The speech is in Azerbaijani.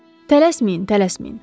Tələsməyin, tələsməyin.